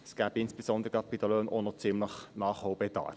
Es gäbe insbesondere bei den Löhnen auch noch ziemlichen Nachholbedarf.